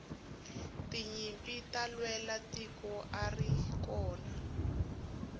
tinyimpi ta lwela tiko atirikona